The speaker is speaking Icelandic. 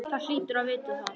Þú hlýtur að vita það.